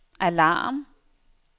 alarm